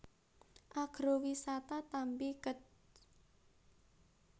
Agrowisata Tambi Kec